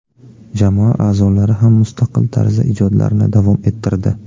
Jamoa a’zolari ham mustaqil tarzda ijodlarini davom ettirdi.